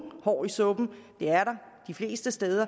hår i suppen det er der de fleste steder